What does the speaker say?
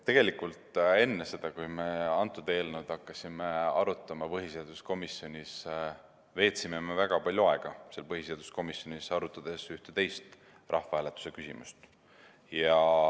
Tegelikult enne seda, kui me hakkasime antud eelnõu arutama põhiseaduskomisjonis, me veetsime väga palju aega põhiseaduskomisjonis, arutades ühte teist rahvahääletuse küsimust.